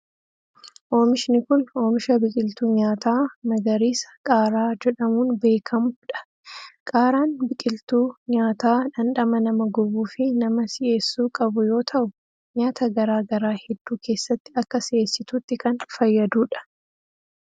Oomishni kun, oomisha biqiltuu nyaataa magariisa qaaraa jedhamuun beekamuu dha. Qaaraan biqiltuu nyaataa dhandhama nama gubuu fi nama si'eessuu qabu yoo ta'u, nyaata garaa garaa hedduu keessatti akka si'eessituutti kan fayyaduu dha.